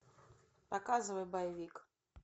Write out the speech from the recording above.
показывай боевик